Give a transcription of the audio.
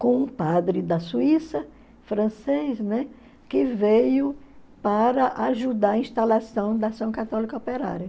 com um padre da Suíça, francês, né, que veio para ajudar a instalação da ação católica operária.